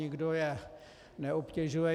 Nikdo je neobtěžuje.